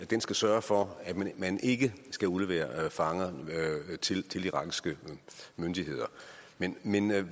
den skal sørge for at man ikke skal udlevere fanger til de irakiske myndigheder men men hvad